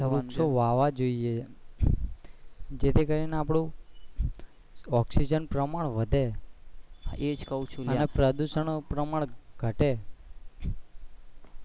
વૃક્ષો વાવવા જોઈએ જે થી કરી ને આપણું ઓક્સિજન પ્રમાણ વધે અને પ્રદુશન પ્રમાણ ઘટે.